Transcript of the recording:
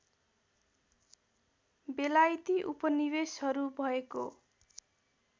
बेलायती उपनिवेशहरू भएको